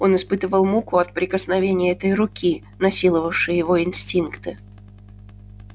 он испытывал муку от прикосновения этой руки насиловавшей его инстинкты